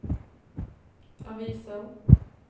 aviser